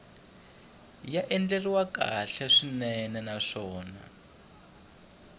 ya andlariwile kahle swinene naswona